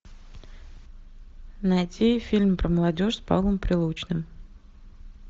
найти фильм про молодежь с павлом прилучным